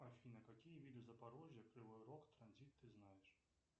афина какие виды запорожья кривой рог транзит ты знаешь